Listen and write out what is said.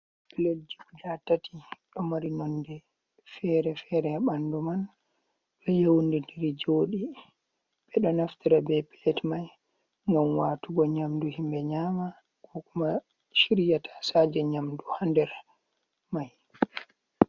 Piletji guɗa tati. Ɗo mari nonɗe fere-fere ha banɗu man. Ɗo yeunɗiri joɗii. be ɗo naftira be pilet mai ngam watugo nyamɗu himbe nyama. Ko kuma shirya tasaje nyamɗu ha nɗer mai.